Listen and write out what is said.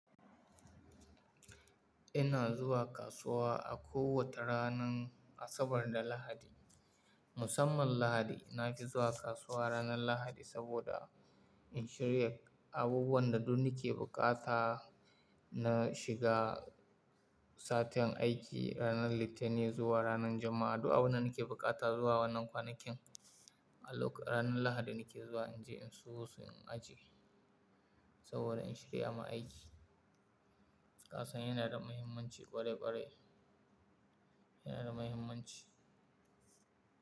Ina zuwa kasuwa a kowace ranar Asabar da Lahadi. Musamman Lahadi, na fi zuwa kasuwa ranar Lahadi saboda in shirya abubuwan da duk nake bukata na shiga satin aiki. Ranar Litani zuwa ranar Juma'a, du'a abin da nake bukata zuwa wannan kwanakin, a lok-- ranar Lahadi nake zuwa in je in sayo su in ajiye saboda in shirya ma aiki. Kasan yana da muhimmanci ƙwarai ƙwarai, yana da muhimmanci.